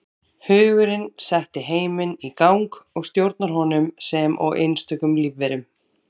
Hugurinn setti heiminn í gang og stjórnar honum sem og einstökum lífverum.